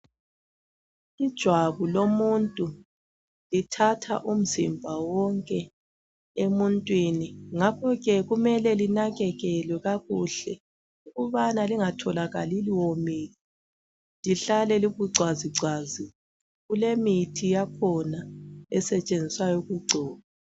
Ijwabu lomuntu lithatha umzimba wonke emuntwini. Ngakho ke, kumele linakekelwe kakuhle ukubana lingatholakali liwomile, lihlale libucwazicwazi. Kulemithi yakhona esetshenziswayo ukugcoba.